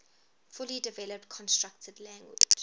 fully developed constructed language